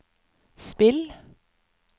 spill